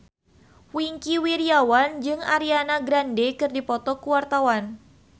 Wingky Wiryawan jeung Ariana Grande keur dipoto ku wartawan